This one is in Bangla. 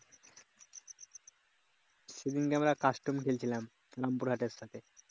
সেদিনকা আমরা custom খেলছিলাম রামপুরহাটের এর সাথে